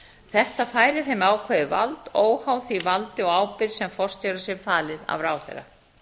þetta færi þeim ákveðið vald óháð því valdi og ábyrgð sem forstjóra sé falið af ráðherra